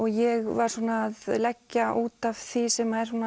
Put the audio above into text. ég var svona að leggja út af því sem er